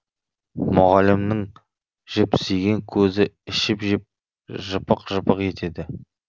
мұғалімнің жіпсиген көзі ішіп жеп жыпық жыпық етеді